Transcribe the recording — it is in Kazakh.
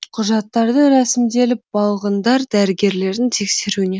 құжаттарды рәсімделіп балғындар дәрігерлердің тексеруінен